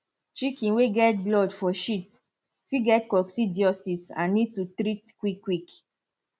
chicken way get blood for shit fit get coccidiosis and need to treat quick quick